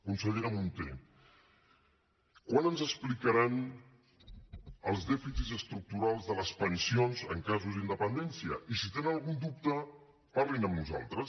consellera munté quan ens explicaran els dèficits estructurals de les pensions en casos d’independència i si tenen algun dubte parlin amb nosaltres